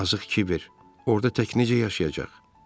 Yazıq Kiber, orda tək necə yaşayacaq?